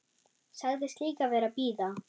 Sagðist líka vera að bíða.